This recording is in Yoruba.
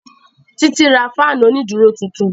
Títí ra fáànù òní dúró tuntun